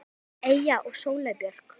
Eyja og Sóley Björk.